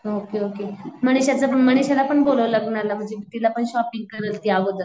Okay okay मनीषाचं मनीषाला पण बोलावं लग्नाला म्हणजे तिला पण शॉपिंग करल ती अगोदरच.